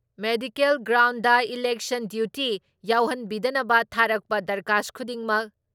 medical ground election duty ꯌꯥꯎꯍꯟꯕꯤꯗꯅꯕ ꯊꯥꯔꯛꯄ ꯗꯔꯈꯥꯁ ꯈꯨꯗꯤꯡꯃꯛ